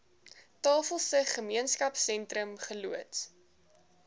tafelsig gemeenskapsentrum geloods